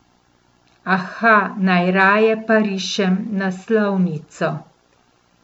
Aha, najraje pa rišem naslovnico.